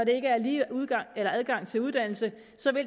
ikke er lige adgang til uddannelse